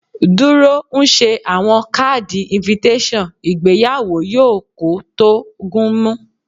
Duro nse awọn kaadi invttation, igbeyawo yoo ko to gun mu